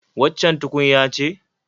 Waccan tukunya ce?